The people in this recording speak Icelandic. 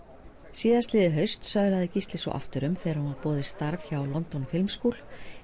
síðastliðið haust söðlaði Gísli svo aftur um þegar honum var boðið starf hjá London Film school